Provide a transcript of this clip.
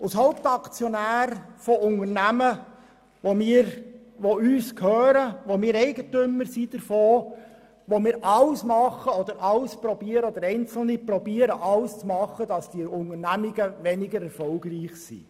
Als Hauptaktionäre von Unternehmungen, die uns gehören, deren Eigentümer wir sind, versuchen wir beziehungsweise Einzelne von uns, alles zu tun, damit diese Unternehmungen weniger erfolgreich sind.